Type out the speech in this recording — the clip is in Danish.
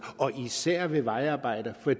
og især ved vejarbejder for